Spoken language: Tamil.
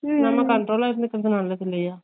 எல்லா control ல இருக்குறது நல்லது இல்லையா